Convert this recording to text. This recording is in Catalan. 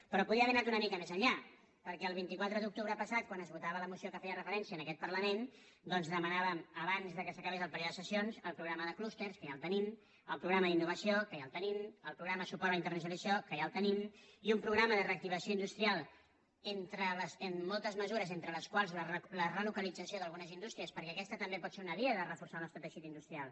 però podia haver anar una mica més enllà perquè el vint quatre d’octubre passat quan es votava la moció que hi feia referència en aquest parlament doncs demanàvem abans que s’acabés el període de sessions el programa de clústers que ja el tenim el programa d’innovació que ja el tenim el programa de suport a la internacio nalització que ja el tenim i un programa de reactivació industrial amb moltes mesures entre les quals la relocalització d’algunes indústries perquè aquesta també pot ser una via per reforçar el nostre teixit industrial